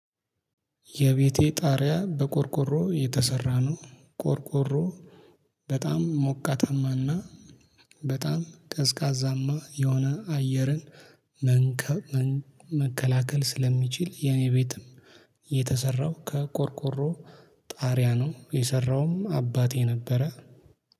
የቤቴ ጣሪያ በቆርቆሮ የተሰራ ነው። ቆርቆሮ በጣም ሞቃታማና በጣም ቀዝቃዛማ የሆነ አየርን መንከብ መከላከል ስለሚችል። የኔ ቤትም የተሰራው ከቆርቆሮ ጣሪያ ነው የሰራውም አባቴ ነበረ